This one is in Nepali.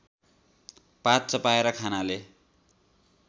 पात चपाएर खानाले